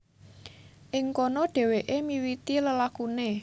Ing kono dhèwèké miwiti lelakuné